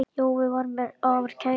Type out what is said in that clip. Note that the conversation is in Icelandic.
Jói var mér afar kær.